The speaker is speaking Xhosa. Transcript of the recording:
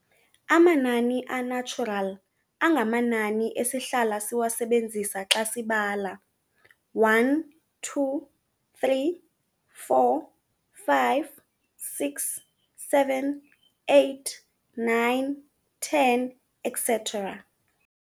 Amanani a-natural angamanani esihlala siwasebenzisa xa sibala, 1, 2, 3, 4, 5, 6, 7, 8, 9, 10 etc.